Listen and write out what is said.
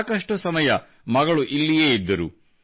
ಸಾಕಷ್ಟು ಸಮಯ ಮಗಳು ಇಲ್ಲಿಯೇ ಇದ್ದರು